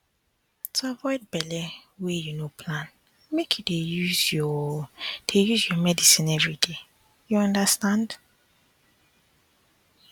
to avoid belle wey you no plan make you dey use your dey use your medicine everyday you understand